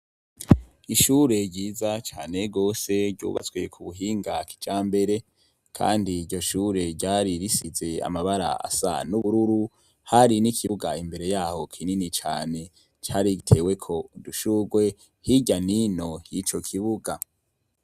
Ishure ryiza cane gose ryubatswe kubuhinga kijambere. Kandi iryo shure ryari risize amabara asa n'ubururu hari n'ikibuga imbere yaho kinini cane cariteyeko udushurwe hirya n'ino y'ico kibuga.